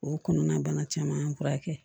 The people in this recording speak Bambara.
O kɔnɔna bana caman y'an furakɛ